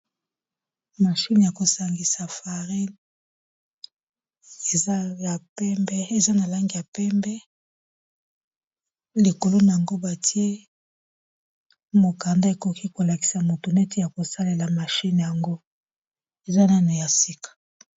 mashine ya kosangisa farine eza na langi ya pembe likolo nango batie mokanda ekoki kolakisa moto neti ya kosalela mashine yango eza nano ya sika.